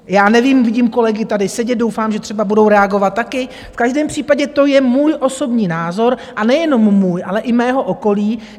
Já nevím, vidím kolegy tady sedět, doufám, že třeba budou reagovat taky, v každém případě to je můj osobní názor, a nejenom můj, ale i mého okolí.